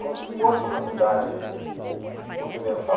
como se fosse uma cidade ocidental.